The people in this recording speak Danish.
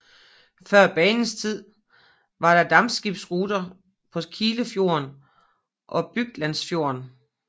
Før banens tid var der dampskibsruter på Kilefjorden og Byglandsfjorden